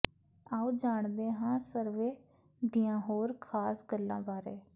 ਆਓ ਜਾਣਦੇ ਹਾਂ ਸਰਵੇ ਦੀਆਂ ਹੋਰ ਖਾਸ ਗੱਲਾਂ ਬਾਰੇ